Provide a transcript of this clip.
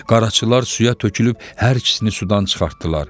Qaraçılar suya tökülüb hər ikisini sudan çıxartdılar.